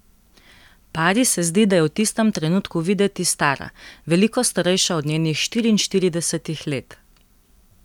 Pari se zdi, da je v tistem trenutku videti stara, veliko starejša od njenih štiriinštiridesetih let.